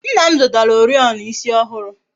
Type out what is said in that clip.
Nna m zụtara Oriọna ịsị ọhụrụ